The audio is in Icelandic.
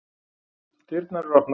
Dyrnar eru opnar